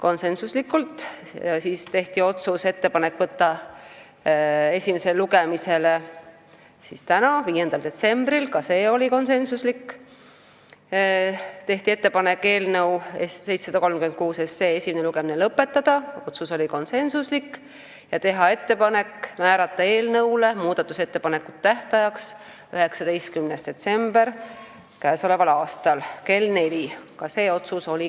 Samuti tehti ettepanek võtta eelnõu 736 esimesele lugemisele tänaseks, 5. detsembriks , eelnõu esimene lugemine lõpetada ja määrata eelnõu muudatusettepanekute tähtajaks 19. detsember k.a kell 16 .